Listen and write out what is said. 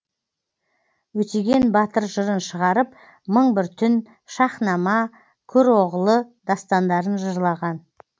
өтеген батыр жырын шығарып мың бір түн шаһнама көроғлы дастандарын жырлаған